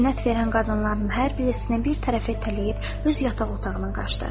Zinət verən qadınların hər birisini bir tərəfə itələyib öz yataq otağına qaçdı.